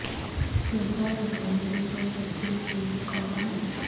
sugar ହେଇଥିବ ଟିକେ check କର ନା